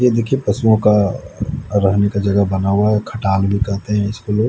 ये देखिए पशुओं का रहने का जगह बना हुआ है खटाल भी कहते हैं इसको लोग।